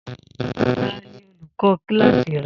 Ta ni olùkó kíláàsì rẹ